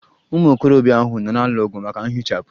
Ụmụ okorobịa ahụ nọ na-alụ ọgụ maka nhichapụ.